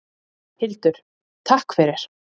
Hildur: Takk fyrir.